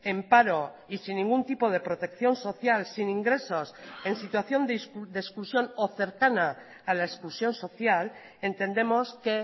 en paro y sin ningún tipo de protección social sin ingresos en situación de exclusión o cercana a la exclusión social entendemos que